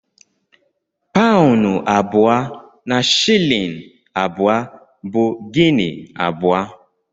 Paụnụ abụọ na shịlịn abụọ bụ Gini abụọ.